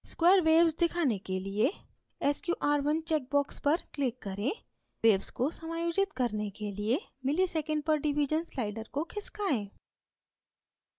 square waves दिखाने के लिए sqr1 check box पर click करें waves को समायोजित करने के लिए msec/div slider को खिसकाएँ